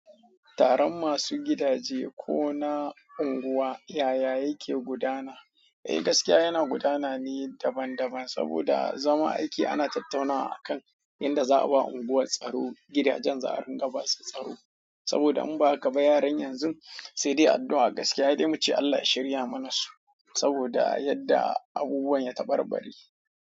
Taron masu gifaje kona unguwa yaya yake gudana. Eh gaskiya yana gudana ne daban daban, saboda zama aiki ana tattaunawa akan yadda za a ba unguwar tsaro, gidajen za'a riƙa ba su tsaro. Saboda in ba haka ba yaran yanzu sai dai addu'a gaskiya he dai muce Allah ya shirya mana su, saboda yadda abubuwan ya ta bar bari.